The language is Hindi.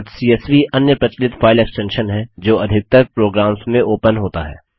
डॉट सीएसवी अन्य प्रचलित फाइल एक्स्टेंशन है जो अधिकतर प्रोग्राम्स में ओपन होता है